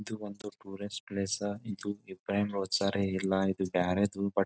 ಇದು ಒಂದು tourist place ಇದು ಇಬ್ರಾಹಿಂ ರೋಚರ್ ಇಲ್ಲಾ ಇದು ಬ್ಯಾರೆದು ಬಟ್ --